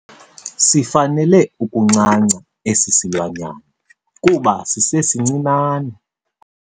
Sifanele ukuncanca esi silwanyana kuba sisesincinane.